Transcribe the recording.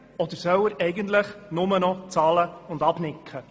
Oder soll er eigentlich nur noch bezahlen und nicken?